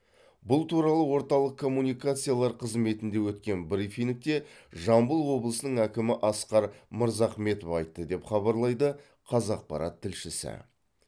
бұл туралы орталық коммуникациялар қызметінде өткен брифингте жамбыл облысының әкімі асқар мырзахметов айтты деп хабарлайды қазақпарат тілшісі